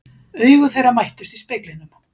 Augu þeirra mættust í speglinum.